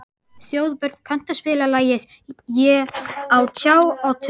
Þjóðbjörn, kanntu að spila lagið „Á tjá og tundri“?